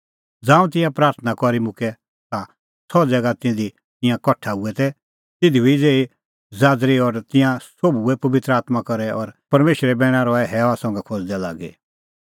ज़ांऊं तिंयां प्राथणां करी मुक्कै ता सह ज़ैगा ज़िधी तिंयां कठा तै हुऐ दै तिधी हुई ज़ेही ज़ाज़री और तिंयां सोभ भर्हुऐ पबित्र आत्मां करै और परमेशरे बैणा रहै हैअ संघै खोज़दै लागी